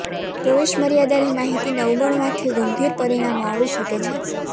પ્રવેશ મર્યાદાની માહિતીને અવગણવાથી ગંભીર પરિણામો આવી શકે છે